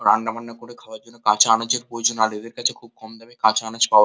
রান্নাবান্না করে খাওয়ার জন্য কাচা আনাজের পয়োজন আর এদের কাছে খুব কম দামে কাঁচা আনাজ পাও--